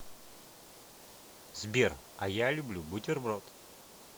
сбер а я люблю бутерброд